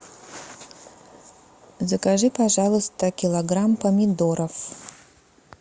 закажи пожалуйста килограмм помидоров